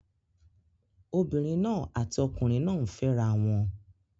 Obìnrin náà àti ọkùnrin náà ń fẹ́ra wọn